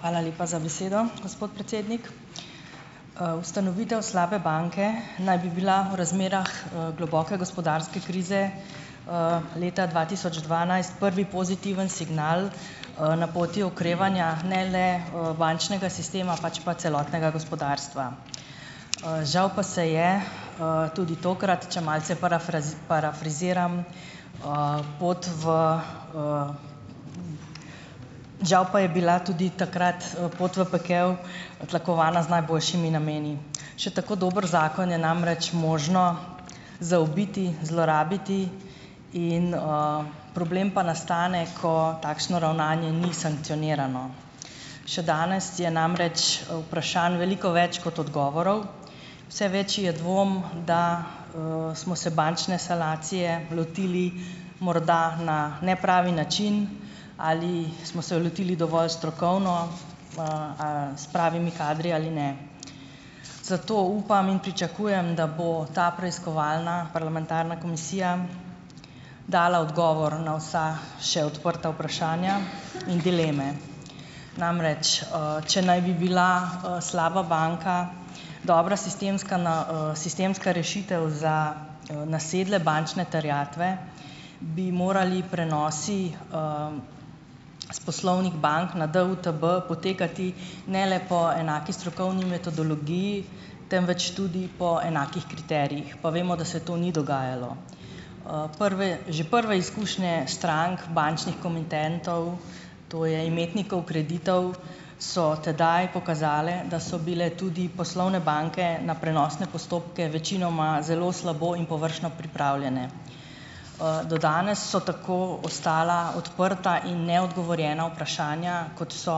Hvala lepa za besedo, gospod predsednik. Ustanovitev slabe banke naj bi bila v razmerah, globoke gospodarske krize, leta dva tisoč dvanajst prvi pozitiven signal, na poti okrevanja ne le, bančnega sistema, pač pa celotnega gospodarstva. Žal pa se je, tudi tokrat, če malce parafraziram, pot v ... Žal pa je bila tudi takrat, pot v pekel tlakovana z najboljšimi nameni. Še tako dober zakon je namreč možno zaobiti, zlorabiti in, problem pa nastane, ko takšno ravnanje ni sankcionirano. Še danes je namreč, vprašanj veliko več kot odgovorov, vse večji je dvom, da, smo se bančne sanacije lotili morda na nepravi način, ali smo se lotili dovolj strokovno, a s pravimi kadri ali ne. Zato upam in pričakujem, da bo ta preiskovalna parlamentarna komisija dala odgovor na vsa še odprta vprašanja in dileme. Namreč, če naj bi bila, slaba banka dobra sistemska na, sistemska rešitev za, nasedle bančne terjatve, bi morali prenosi, s poslovnih bank na DUTB potekati ne le po enaki strokovni metodologiji, temveč tudi po enakih kriterijih, pa vemo, da se to ni dogajalo. Prve že prve izkušnje strank bančnih komitentov, to je imetnikov kreditov, so tedaj pokazale, da so bile tudi poslovne banke na prenosne postopke večinoma zelo slabo in površno pripravljene. Do danes so tako ostala odprta in neodgovorjena vprašanja, kot so,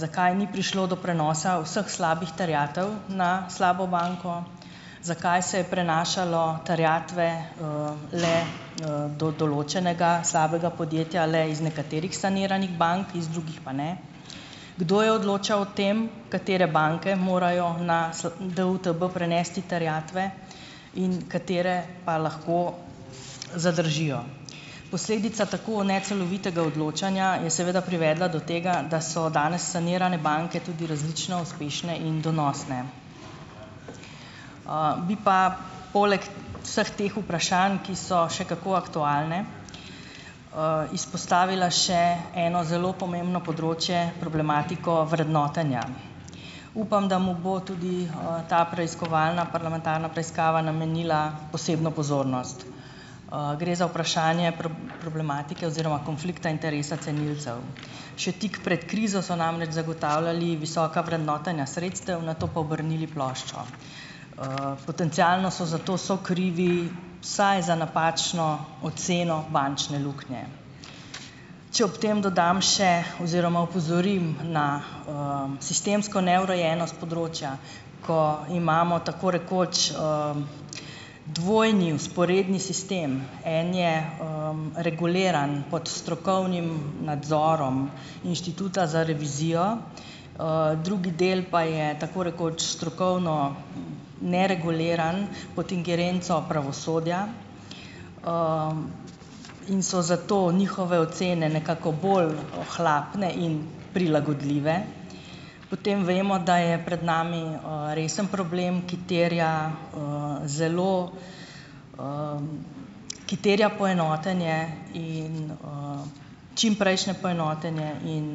zakaj ni prišlo do prenosa vseh slabih terjatev na slabo banko, zakaj se je prenašalo terjatve, le, do določenega slabega podjetja le iz nekaterih saniranih bank, iz drugih pa ne, kdo je odločal o tem, katere banke morajo na DUTB prenesti terjatve in katere pa lahko zadržijo. Posledica tako necelovitega odločanja je seveda privedla do tega, da so danes sanirane banke tudi različno uspešne in donosne. Bi pa poleg vseh teh vprašanj, ki so še kako aktualna, izpostavila še eno zelo pomembno področje, problematiko vrednotenja. Upam, da mu bo tudi, ta preiskovalna parlamentarna preiskava namenila posebno pozornost. Gre za vprašanje problematike oziroma konflikta interesa cenilcev. Še tik pred krizo so namreč zagotavljali visoka vrednotenja sredstev, nato pa obrnili ploščo. Potencialno so zato sokrivi vsaj za napačno oceno bančne luknje. Če ob tem dodam še ... oziroma opozorim na, sistemsko neurejenost področja, ko imamo tako rekoč, dvojni vzporedni sistem. En je, reguliran pod strokovnim nadzorom Inštituta za revizijo, drugi del pa je tako rekoč strokovno nereguliran pod ingerenco pravosodja, in so zato njihove ocene nekako bolj ohlapne in prilagodljive. Potem vemo, da je pred nami, resen problem, ki terja, zelo, ki terja poenotenje, in, čimprejšnje poenotenje in,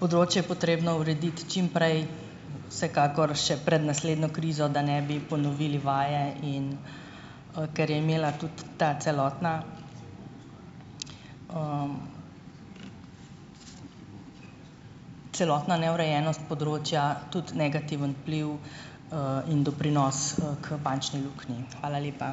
področje je potrebno urediti čim prej, vsekakor še pred naslednjo krizo, da ne bi ponovili vaje, in, ker je imela tudi ta celotna, celotna neurejenost področja tudi negativen vpliv, in doprinos, k bančni luknji. Hvala lepa.